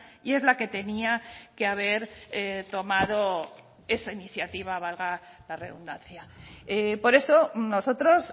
y es la que tenía que haber tomado esa iniciativa valga la redundancia por eso nosotros